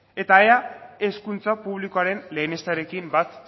eta ea hezkuntza publikoaren lehenesterekin bat